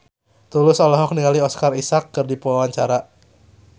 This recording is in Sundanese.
Tulus olohok ningali Oscar Isaac keur diwawancara